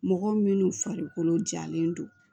Mɔgɔ minnu farikolo jalen don